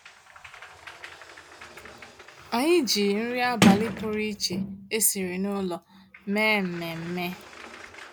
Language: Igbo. Ànyị́ jí nrí àbálị́ pụ̀rụ̀ iche ésìrí n'ụ́lọ̀ méé mmèmme.